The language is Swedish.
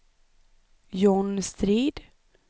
John Strid